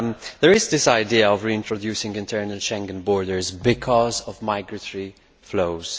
There is this idea of reintroducing internal Schengen borders because of migratory flows.